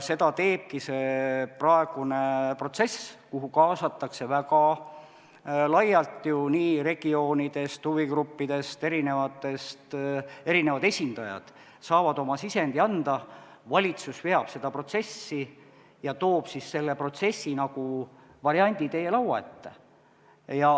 Seda teebki see praegune protsess, kuhu kaasatakse väga laialt regioonid ja huvigrupid, erinevad esindajad saavad oma sisendi anda, valitsus veab seda protsessi ja toob selle protsessi variandi teie lauale.